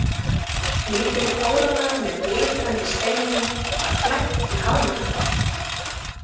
Lítil kóróna með glitrandi steinum var flækt í hármakkann.